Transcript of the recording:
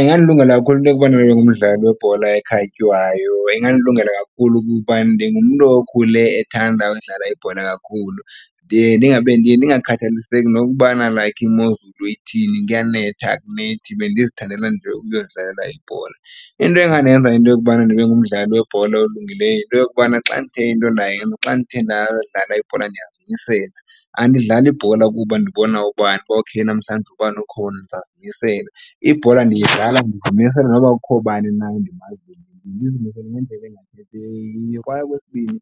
Ingandilungela kakhulu into yokubana ndibe ngumdlali webhola ekhatywayo. Ingandilungela kakhulu kuba ndingumntu okhule ethanda udlala ibhola kakhulu. Ndiye ndingakhathaliseki nokubana like imozulu ithini kuyanetha, akunethi, bendizithandela nje ukuyozidlalela ibhola. Into engandenza into yokubana ndibe ngumdlali webhola olungileyo yinto yokubana xa ndithe into ndayenza, xa ndithe ndadlala ibhola ndiyazimisela. Andidlali ibhola kuba ndibona ubani uba okay namhlanje ubani ukhona ndizawuzimisela. Ibhola ndiyidlala ndizimisele noba kukho bani na endimaziyo, ndizimisele ngendlela . Kwaye okwesibini,